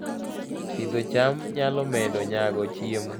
Pidho cham nyalo medo nyago chiemo